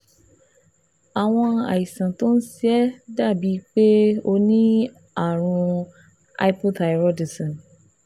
Àwọn àìsàn tó ń ṣe ẹ́ dàbíi pé o ní àrùn hypothyroidism